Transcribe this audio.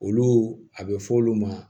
Olu a bɛ fɔ olu ma